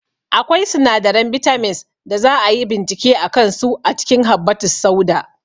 Akwai sinadaran bitamins da za a yi bincike a kansu a cikin habbatussauda